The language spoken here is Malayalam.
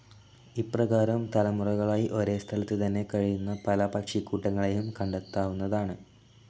ഇപ്രകാരം തലമുറകളായി ഒരേസ്ഥലത്തു തന്നെ കഴിയുന്ന പല പക്ഷികൂട്ടങ്ങളെയും കണ്ടെത്താവുന്നതാണ്.